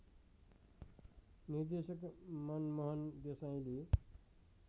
निर्देशक मनमोहन देसाईले